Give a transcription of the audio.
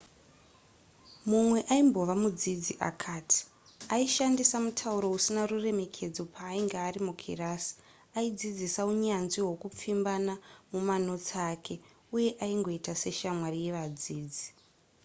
mumwe aimbove mudzidzi akati aishandisa mutauro usina ruremekedzo paainge ari mukirasi aidzidzisa unyanzvi hwekupfimbana mumanotsi ake uye aingoita seshamwari yevadzidzi